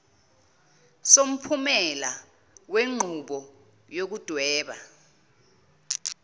somphumela wenqubo yokudweba